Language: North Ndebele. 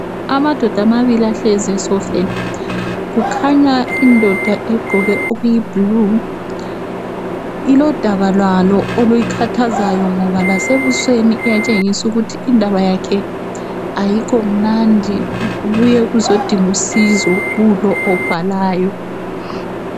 Amadoda amabili ahlezi esofeni kukhanya indoda egqoke okuyiblue ilodaba lwalo oluyikhathazayo ngoba lasebusweni iyatshengis’ ukuthi indaba yakhe ayikho mnandi ubuye ukuzodingusizo kulo obhalayo.